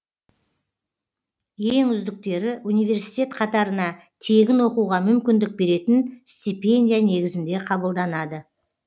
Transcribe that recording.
ең үздіктері университет қатарына тегін оқуға мүмкіндік беретін стипендия негізінде қабылданады